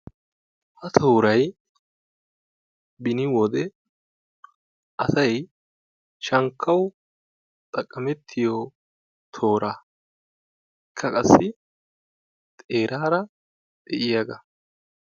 ha tooray beni wode asay shankkawu xaqqamettiyo tooraa, ikka qassi xeeraara de'iyaaga.